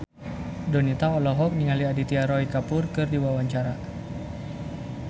Donita olohok ningali Aditya Roy Kapoor keur diwawancara